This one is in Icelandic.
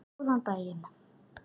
Góðan daginn